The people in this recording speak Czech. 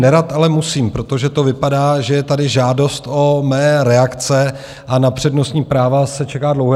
Nerad, ale musím, protože to vypadá, že je tady žádost o mé reakce, a na přednostní práva se čeká dlouho.